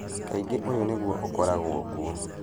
Kaingĩ ũyũ nĩguo ũkoragwo kuuo.